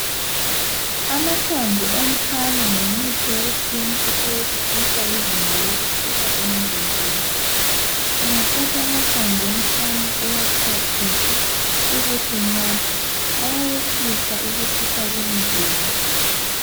Amahlamvu omphane ngumuthi wesintu owehlisa izinga lokutshisa emzimbeni, ungathatha amahlamvu omphane uwaxhwathise ubusunatha ayehlisa ukutshisa komzimba.